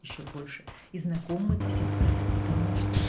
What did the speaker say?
ещё больше и знакомым это всем сказать потому что